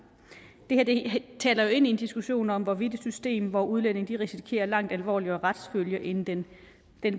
det taler jo ind i en diskussion om hvorvidt et system hvor udlændinge risikerer langt alvorligere retsfølger end den